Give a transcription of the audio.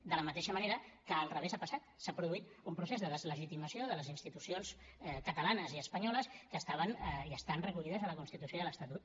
de la mateixa manera que al revés ha passat s’ha produït un procés de deslegitimació de les institucions catalanes i espanyoles que estaven i estan recollides a la constitució i a l’estatut